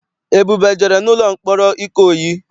Ebube ejere n'ụlọ mkpọrọ Ikoyi?